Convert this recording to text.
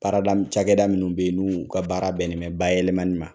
Baarada cakɛda minun be yen n'u ka baara bɛnnen bɛ ba yɛlɛmali ma.